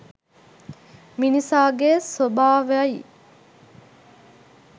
මිනිසාගේ ස්වභාව යි.